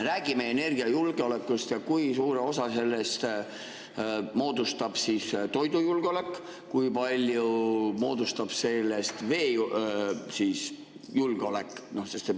Räägime energiajulgeolekust ja sellest, kui suure osa sellest moodustab toidujulgeolek ning kui palju moodustab sellest veejulgeolek.